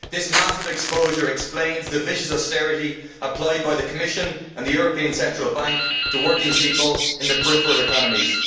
This massive exposure explains the vicious austerity applied by the Commission and the European Central Bank to working people in the peripheral economies.